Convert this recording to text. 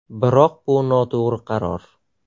Biroq bu noto‘g‘ri qaror!